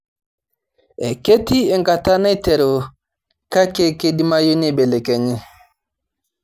Ketii enkata naiteru kake keidimayu neibelekenyi